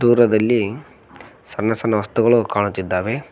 ದೂರದಲ್ಲಿ ಸಣ್ಣ ಸಣ್ಣ ವಸ್ತುಗಳು ಕಾಣುತ್ತಿದ್ದಾವೆ.